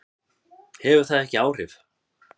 Hefur það ekki áhrif?